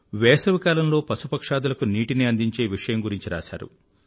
వేసవికాలంలో పశుపక్ష్యాదులకు నీటిని అందించే విషయం గురించి రాశారు